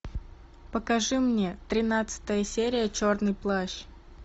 покажи мне тринадцатая серия черный плащ